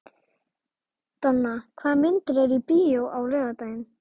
Donna, hvaða myndir eru í bíó á laugardaginn?